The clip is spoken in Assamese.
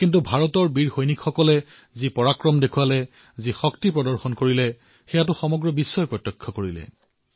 কিন্তু তাৰ পিছত ভাৰতৰ বীৰ সেনা যি পৰাক্ৰম প্ৰদৰ্শিত কৰিলে ভাৰতে যি নিজৰ শক্তি প্ৰদৰ্শিত কৰিলে সেয়া সমগ্ৰ বিশ্বই প্ৰত্যক্ষ কৰিলে